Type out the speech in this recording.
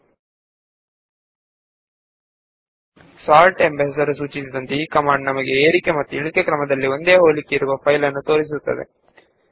sort ಎಂಬ command ಹೆಸರಿಗನುಗುಣವಾಗಿ ಒಂದು ಫೈಲ್ ನಲ್ಲಿರುವ ವಿಷಯಗಳನ್ನು ನಮಗಾಗಿ ಏರಿಕೆ ಹಾಗೂ ಇಳಿಕೆ ಕ್ರಮದಲ್ಲಿ ಜೋಡಿಸುತ್ತದೆ